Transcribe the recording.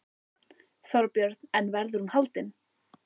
Þorbjörn: En verður hún haldin?